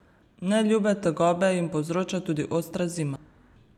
Neljube tegobe jim povzroča tudi ostra zima.